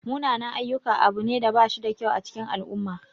Munanan-ayyuka abu ne da bashida kyau a cikin al'umma.